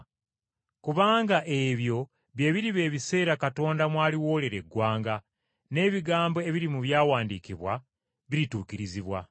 Kubanga ebyo bye biriba ebiseera Katonda mwaliwolera eggwanga, n’ebigambo ebiri mu Byawandiikibwa birituukirizibwa.